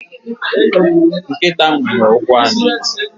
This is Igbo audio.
Nkịta nwere ụkwụ anọ.